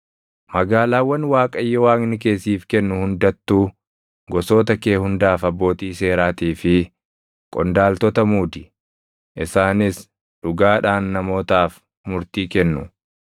Magaalaawwan Waaqayyo Waaqni kee siif kennu hundattuu gosoota kee hundaaf abbootii seeraatii fi qondaaltota muudi; isaanis dhugaadhaan namootaaf murtii kennu.